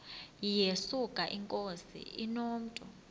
yesuka inkosi inomntu